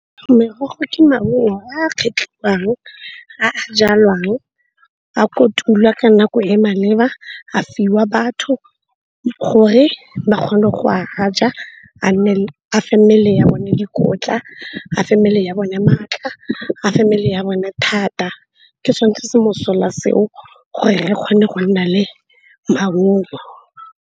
Merogo ke maungo a kgetlhiwang, a jalwang, a kotulwa ka nako e e maleba. A fiwa batho gore ba kgone go a ja. A fe mmele ya bone dikotla, a fe mmele ya bone maatla, a fe mmele ya bone thata ke sone se mosola seo gore re kgone go nna le maungo.